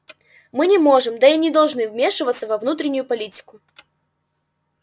мы не можем да и не должны вмешиваться во внутреннюю политику